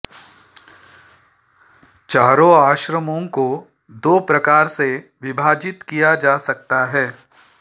चारों आश्रमों को दो प्रकार से विभाजित किया जा सकता है